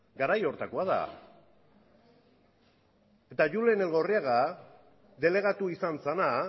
garai horretakoa da eta julen elgorriaga delegatu izan zena